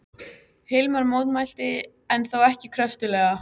Hilmar mótmælti en þó ekki kröftuglega.